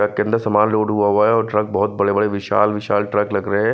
Truck के अंदर समान लोड हुआ हुआ है। बहोत बड़े-बड़े विशाल-विशाल ट्रक लग रहे हैं।